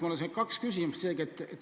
Mul on kaks küsimust.